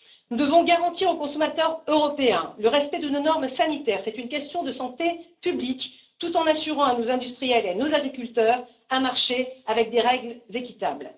Nous devons garantir aux consommateurs européens le respect de nos normes sanitaires c'est une question de santé publique tout en assurant à nos industriels et à nos agriculteurs un marché avec des règles équitables.